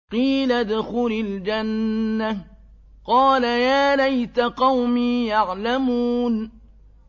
قِيلَ ادْخُلِ الْجَنَّةَ ۖ قَالَ يَا لَيْتَ قَوْمِي يَعْلَمُونَ